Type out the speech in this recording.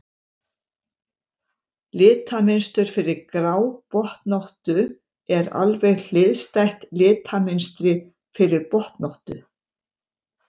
Litamynstur fyrir grábotnóttu er alveg hliðstætt litamynstri fyrir botnóttu.